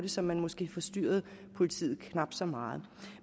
så man måske forstyrrede politiet knap så meget